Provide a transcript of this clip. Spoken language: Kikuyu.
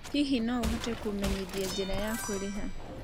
Hihi no ũhote kũmenyithia njĩra ya kũrĩha